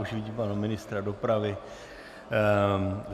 Už vidím pana ministra dopravy.